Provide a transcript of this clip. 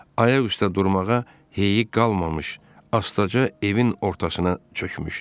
Ayaq üstə durmağa hey qalmamış, astaca evin ortasına çökmüşdü.